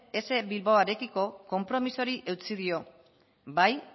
ess bilbaorekiko konpromiso horri eutsi dio bai